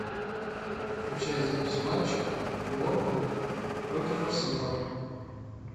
включай запись матча борнмут против арсенал